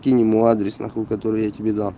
кинь ему адрес нахуй который я тебе дал